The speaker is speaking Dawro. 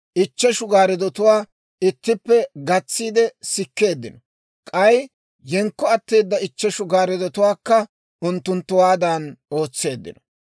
Ichcheshu gaariddotuwaa ittippe gatsiide sikkeeddino; k'ay yenkko atteeda ichcheshu gaariddotuwaakka unttunttuwaadan ootseeddino.